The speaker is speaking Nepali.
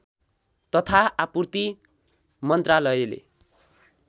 तथा आपूर्ति मन्त्रालयले